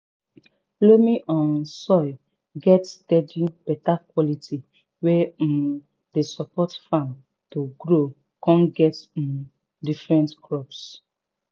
loamy um soil get steady beta quality wey um dey support farm to grow con get um different crops